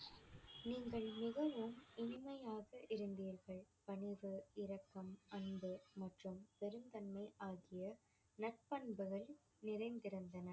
நீங்கள் மிகவும் இனிமையாக இருந்தீர்கள். பணிவு, இரக்கம், அன்பு மற்றும் பெருந்தன்மை ஆகிய நற்பண்புகள் நிறைந்திருந்தன.